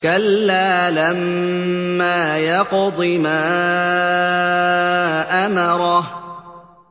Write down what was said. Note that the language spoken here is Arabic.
كَلَّا لَمَّا يَقْضِ مَا أَمَرَهُ